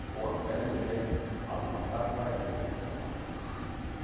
оған қытайдан келген азаматтар карантинге жатқызылмақ